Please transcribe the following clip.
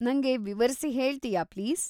ನಂಗೆ ವಿವರ್ಸಿ ಹೇಳ್ತೀಯಾ ಪ್ಲೀಸ್.